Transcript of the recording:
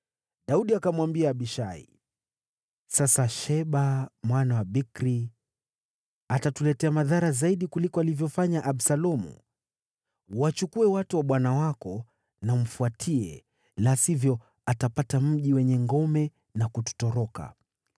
Daudi akamwambia Abishai, “Sasa Sheba mwana wa Bikri atatuletea madhara zaidi kuliko alivyofanya Absalomu. Wachukue watu wa bwana wako na umfuatie, la sivyo atapata mji wenye ngome na kututoroka.”